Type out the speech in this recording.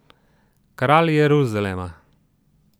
Kralj Jeruzalema.